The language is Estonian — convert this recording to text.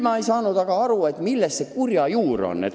Ma ei ole aru saanud, mis see kurja juur on.